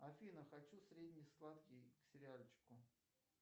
афина хочу средне сладкий к сериальчику